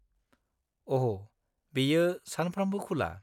-अह', बेयो सानफ्रामबो खुला।